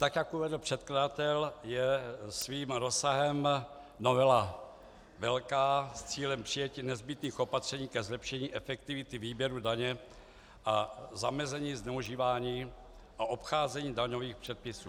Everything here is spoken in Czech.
Tak jak uvedl předkladatel, je svým rozsahem novela velká s cílem přijetí nezbytných opatření ke zlepšení efektivity výběru daně a zamezení zneužívání a obcházení daňových předpisů.